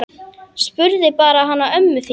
Spurðu bara hana ömmu þína!